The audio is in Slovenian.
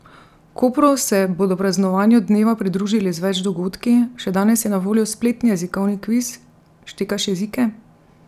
V Kopru se bodo praznovanju dneva pridružili z več dogodki, še danes je na voljo spletni jezikovni kviz Štekaš jezike?